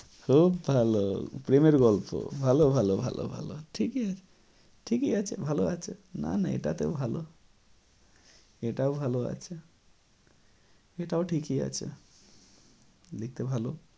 খুব ভালো প্রেমের গল্প ভালো ভালো ভালো ভালো ঠিকই ঠিকই আছে ভালো আছে না না এটাতেও ভালো এটাও ভালো আছে এটাও ঠিকই আছে দেখতে ভালো